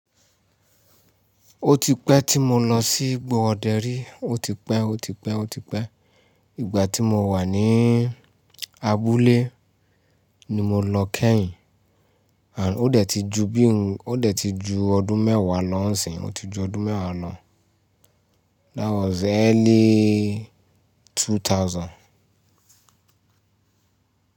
Ó ti pẹ́ tí mo lọ sí ìgbò Oderi, ó ti pẹ́, ó ti pẹ́, ó ti pẹ́. Ìgbà tí mo wà ní abúlé ni mo lọ kẹ́yìn. À, ó dẹ̀ ti ju bí ǹ, ó dẹ̀ ti ju ọdún mẹ́wàá lọńsi ó ti ju ọdún mẹ́wàá lọ. That was early 2000.